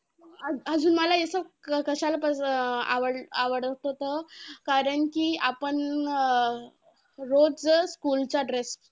अज~ अजून मला असं कशाला आव~ आवडत होतं कारण कि आपण रोज school चा dress.